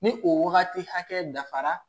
Ni o wagati hakɛ dafara